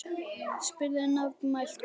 spurði nefmælt kona.